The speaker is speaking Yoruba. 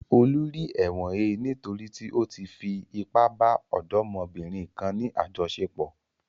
Olú rí ẹ̀wọ̀n he nítorí tí ó fi ipá bá ọ̀dọ́mọbìnrin kan ní àjọṣepọ̀.